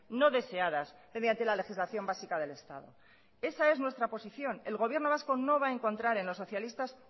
no deseadas mediante la legislación básica del estado esa es nuestra posición el gobierno vasco no va a encontrar en los socialistas